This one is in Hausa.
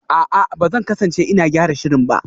A'a, ba zan kasance ina gyara shirin ba